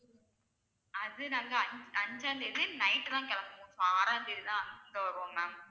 அது நாங்க அஞ்~ அஞ்சாம் தேதி night தான் கிளம்புவோம் ஆறாம் தேதி தான் இங்க வருவோம் ma'am